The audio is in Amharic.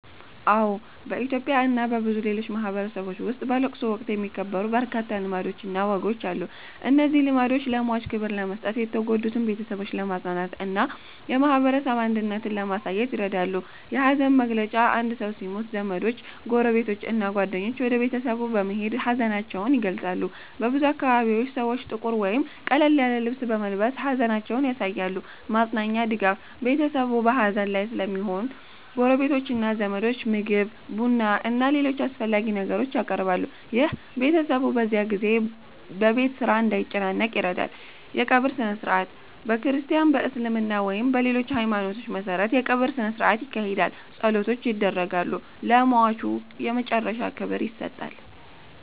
አዎ፣ በኢትዮጵያ እና በብዙ ሌሎች ማህበረሰቦች ውስጥ በለቅሶ ወቅት የሚከበሩ በርካታ ልማዶችና ወጎች አሉ። እነዚህ ልማዶች ለሟች ክብር ለመስጠት፣ የተጎዱትን ቤተሰቦች ለማጽናናት እና የማህበረሰብ አንድነትን ለማሳየት ይረዳሉ። 1. የሐዘን መግለጫ አንድ ሰው ሲሞት ዘመዶች፣ ጎረቤቶች እና ጓደኞች ወደ ቤተሰቡ በመሄድ ሀዘናቸውን ይገልጻሉ። በብዙ አካባቢዎች ሰዎች ጥቁር ወይም ቀለል ያለ ልብስ በመልበስ ሐዘናቸውን ያሳያሉ። 2. ማጽናኛ (ድጋፍ) ቤተሰቡ በሐዘን ላይ ስለሚሆን ጎረቤቶችና ዘመዶች ምግብ፣ ቡና እና ሌሎች አስፈላጊ ነገሮችን ያቀርባሉ። ይህ ቤተሰቡ በዚያ ጊዜ በቤት ስራ እንዳይጨነቅ ይረዳል። 3. የቀብር ሥነ-ሥርዓት በክርስቲያን፣ በእስልምና ወይም በሌሎች ሃይማኖቶች መሠረት የቀብር ሥነ-ሥርዓት ይካሄዳል። ጸሎቶች ይደረጋሉ፣ ለሟቹ የመጨረሻ ክብር ይሰጣል።